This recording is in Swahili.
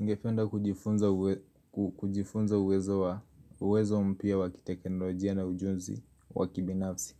Ningependa kujifunza uwezo mpya wa kitekenolojia na ujuzi wa kibinafsi